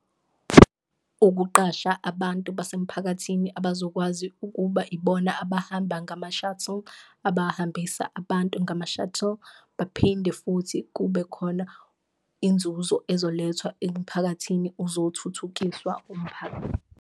Ukuqasha abantu basemphakathini abazokwazi ukuba ibona abahamba ngama-shuttle, abahambisa abantu ngama-shuttle. Baphinde futhi kube khona inzuzo ezolethwa emphakathini uzothuthukiswa umphakathi.